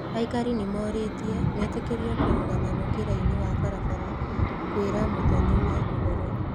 Aikari nĩ morĩtie metĩkĩrio kũrũgama mũkĩra-inĩ wa barabara kwĩra mũthoni-we ũhoro.